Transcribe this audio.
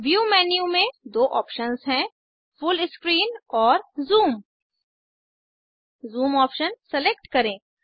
view menu में दो options हैं फूल स्क्रीन और ज़ूम जूम ऑप्शन सेलेक्ट करें